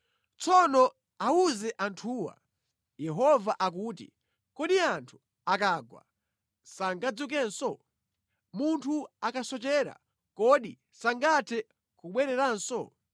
“Tsono awuze anthuwa, ‘Yehova akuti: “ ‘Kodi anthu akagwa sangadzukenso? Munthu akasochera kodi sangathe kubwereranso?